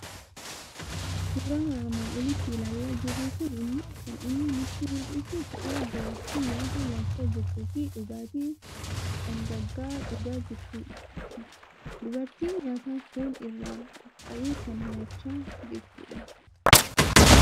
Suuraan armaan olitti ilaalaa jirru kuni immoo kan inni nutti mul'isu suuraa dubartii nyaata nyaachaa jirtuu fi dhugaatii dhangaggaa'aa dhugaa jirtuuti. Dubartiin nyaata foon irraa qophaa'ee kan nyaacha jirtu dha.